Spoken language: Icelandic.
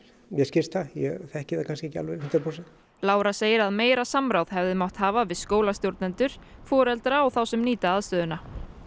mér skilst það ég þekki það kannski ekki alveg hundrað prósent Lára segir að meira samráð hefði mátt hafa við skólastjórnendur foreldra og þá sem nýta aðstöðuna